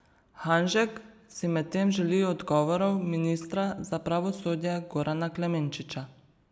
Hanžek si medtem želi odgovorov ministra za pravosodje Gorana Klemenčiča.